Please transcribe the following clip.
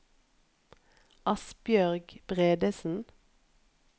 Asbjørg Bredesen